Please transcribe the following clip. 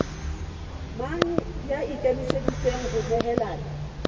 mang ya ikemiseditseng ho nehelana